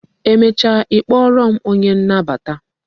Emecha ị kpọrọ m onye nnabata